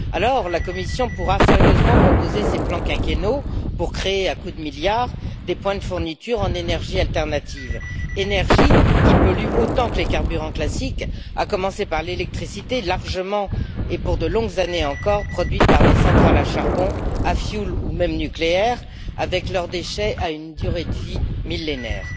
Alors, la Commission pourra sérieusement proposer ses plans quinquennaux pour créer à coups de milliards des points de fourniture en énergies alternatives, énergies qui polluent autant que les carburants classiques, à commencer par l'électricité, largement et pour de longues années encore produite par des centrales à charbon, à fioul ou même nucléaires, avec leurs déchets à la durée de vie millénaire.